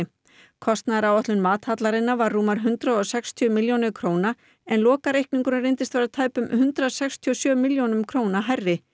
kostnaðaráætlun var rúmar hundrað og sextíu milljónir en lokareikningurinn reyndist vera tæpum hundrað sextíu og sjö milljónum hærri